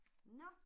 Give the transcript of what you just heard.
Nåh